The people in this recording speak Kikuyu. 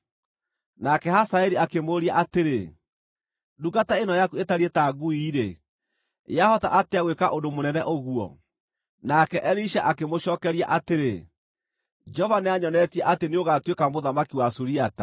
Nake Hazaeli akĩmũũria atĩrĩ, “Ndungata ĩno yaku ĩtariĩ ta ngui-rĩ, yahota atĩa gwĩka ũndũ mũnene ũguo?” Nake Elisha akĩmũcookeria atĩrĩ, “Jehova nĩanyonetie atĩ nĩũgatuĩka mũthamaki wa Suriata.”